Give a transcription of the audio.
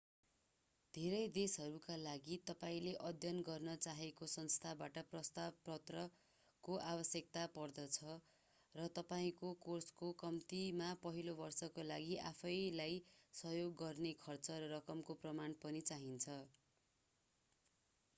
धेरै देशहरूका लागि तपाईले अध्ययन गर्न चाहेको संस्थाबाट प्रस्ताव पत्रको आवश्यकता पर्दछ र तपाईँको कोर्सको कम्तिमा पहिलो वर्षका लागि आफैंलाई सहयोग गर्न खर्च रकमको प्रमाण पनि चाहिन्छ